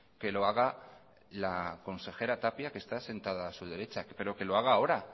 que lo haga la consejera tapia que está sentada a su derecha pero que lo haga ahora